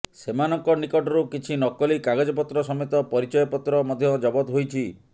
ସେମାନଙ୍କ ନିକଟରୁ କିଛି ନକଲି କାଗଜପତ୍ର ସମେତ ପରିଚୟପତ୍ର ମଧ୍ୟ ଜବତ ହୋଇଛି